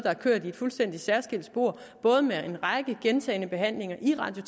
har kørt i et fuldstændig særskilt spor både med en række gentagne behandlinger i radio